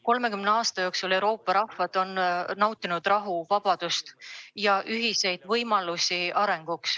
Kolmekümne aasta jooksul on Euroopa rahvad nautinud rahu, vabadust ja ühiseid arenguvõimalusi.